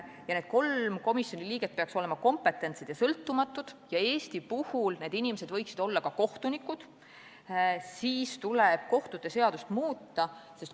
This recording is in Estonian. Kuna need kolm komisjoni liiget peaks olema kompetentsed ja sõltumatud ja Eesti puhul need inimesed võiksid olla ka kohtunikud, siis tuleb muuta kohtute seadust.